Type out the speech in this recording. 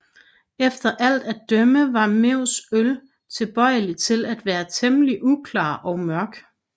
Efter alt at dømme var Mews øl tilbøjelig til at være temmelig uklar og mørk